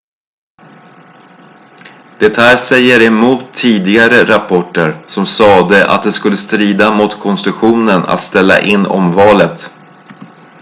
det här säger emot tidigare rapporter som sade att det skulle strida mot konstitutionen att ställa in omvalet